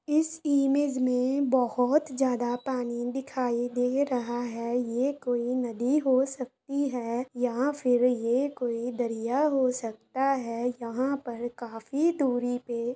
इस इमेज मे बहुत ज्यादा पानी दिखाई दे रहा है यह कोई नदी हो सकती है या फिर कोई दरिया हो सकता है यहाँ पर काफी दूरी पे--